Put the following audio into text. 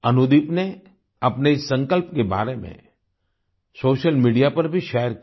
अनुदीप ने अपने इस संकल्प के बारे में सोशल मीडिया पर भी शेयर किया